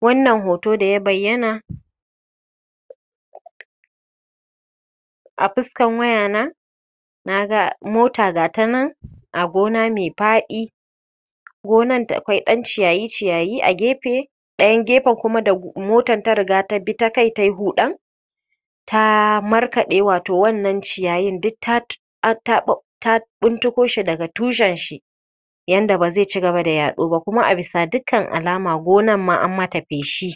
Wannan hoto da ya bayyana, a fuskan wayana, na ga mota ga ta nan a gona mai faɗi, gonar da kwai ɗan ciyayi-ciyayi a gefe ɗayan gefen ku da motan ta riga ta bi ta kai ta yi huɗan, ta markaɗe wato wannan ciyayin duk ta tut um ta ɓuntuko shi daga tushenshi yanda ba zai ci gaba da yaɗo ba, kuma abisa dukkan alama gonar ma an yi mata feshi.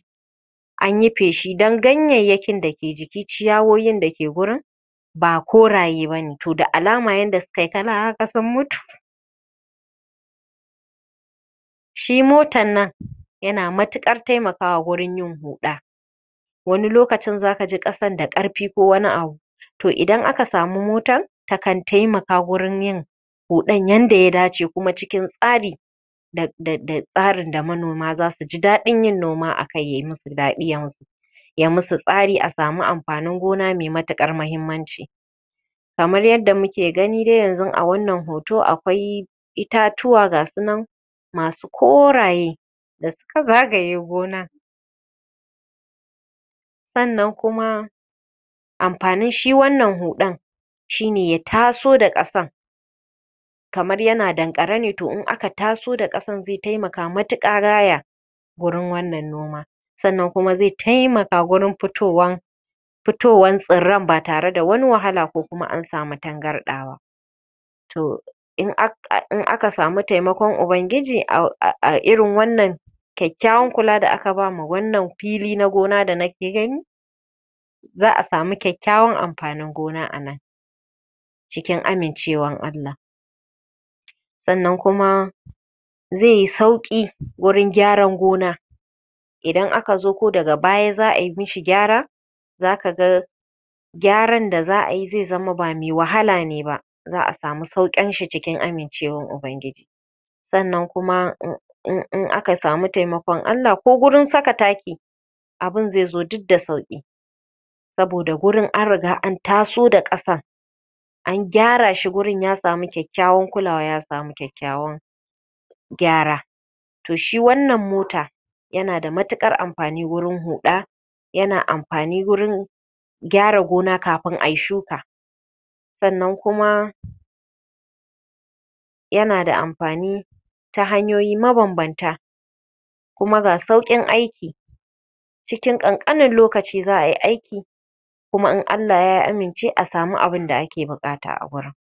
An yi feshi dan ganyayyakin da ke jiki, ciyawoyin da ke gurin ba koraye ba ne, to da alama yadda suka yi kala haka sun mutu. Shi motan nan yana matuƙar taimakawa gurin yin huɗa wani lokacin za ka ji ƙasan da ƙarfi ko wani abu to idan aka samu motan, takan taimaka gurin yin huɗan yadda ya dace kuma cikin tsari. um tsarin da manoma za su ji daɗin yin noma a kai ya yi musu daɗi ya musu tsari a samu amfanin gona mai matuƙar muhimmanci. Kamar yadda muke gani dai yanzu a wannan hoto akwai, itatuwa ga su nan masu koraye da suka zagaye gonan. sannan kuma, amfanin shi wannan huɗan, shi ne ya taso da ƙasan kamar yana danƙare ne, to in aka taso da ƙasan zai taimaka matuƙa gaya wurin wannan noma. Sannan kuma zai taimaka gurin fitowar fitowar tsirran ba tare da wani wahala ko kuma an samu tangarɗa ba. to in aka samu taimakon ubangiji a irin wannan ƙ kyakkyawan kula da aka ba ma wannan fili na gona da nike gani, za a samu kyakkyawan amfanin gona a nan. cikin amincewar Allah sannan kuma, zai yi sauƙi, gurin gyaran gona. idan aka zo ko daga baya za a yi mishi gyara, za ka ga, gyaran da za yi, zai zama ba mai wahala ne ba. za a samu sauƙinshi cikin amincewar ubangiji. Sannan kuma, in in aka samu taimakon Allah ko gurin saka taki, abun zai zo duk da sauƙi. Saboda gurin an riga an taso da ƙasan. an gyara shi gurin ya samun kyakkyawan kulawa, ya samu kyakkyawan gyara. To shi wannan mota, yana da matuƙar amfani gurin huɗa, yana amfani gurin gyara gona kafin ai shuka. sannan kuma, yana da amfani, ta hanyoyi mabambanta kuma ga sauƙin aiki cikin ƙanƙanin lokaci za ai aiki, kuma in Allah ya amince a samu abinda ake buƙata a gurin.